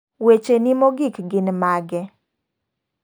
Weche ni mogik gin mage?